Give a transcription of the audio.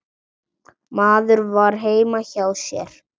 Maður var heima hjá sér.